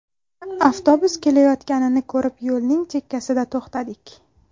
Avtobus kelayotganini ko‘rib yo‘lning chekkasida to‘xtadik.